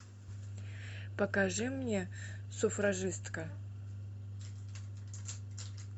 покажи мне суфражистка